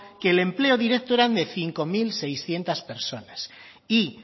que el empleo directo era de cinco mil seiscientos personas y